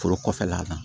Foro kɔfɛla la